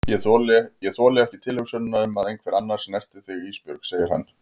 Ég þoli ekki tilhugsunina um að einhver annar snerti þig Ísbjörg, segir hann.